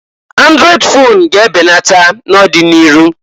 Andrọịd fon ga-e benata na'ọdị n'iru.